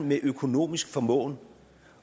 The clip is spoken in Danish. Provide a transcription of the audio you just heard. med økonomisk formåen